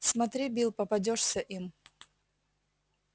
смотри билл попадёшься им